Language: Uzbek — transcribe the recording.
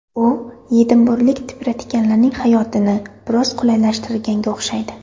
U edinburglik tipratikanlarning hayotini biroz qulaylashtirganga o‘xshaydi.